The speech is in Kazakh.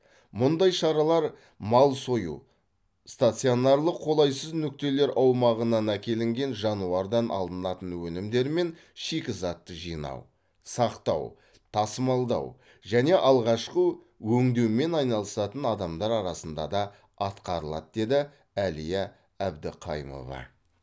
мұндай шаралар мал сою стационарлық қолайсыз нүктелер аумағынан әкелінген жануардан алынатын өнімдер мен шикізатты жинау сақтау тасымалдау және алғашқы өңдеумен айналысатын адамдар арасында да атқарылады деді әлия әбдіқайымова